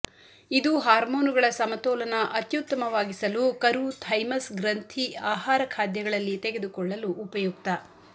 ಇದು ಹಾರ್ಮೋನುಗಳ ಸಮತೋಲನ ಅತ್ಯುತ್ತಮವಾಗಿಸಲು ಕರು ಥೈಮಸ್ ಗ್ರಂಥಿ ಆಹಾರ ಖಾದ್ಯಗಳಲ್ಲಿ ತೆಗೆದುಕೊಳ್ಳಲು ಉಪಯುಕ್ತ